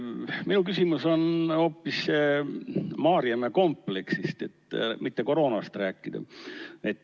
Minu küsimus on hoopis Maarjamäe kompleksi kohta, et mitte koroonast rääkida.